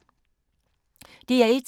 DR1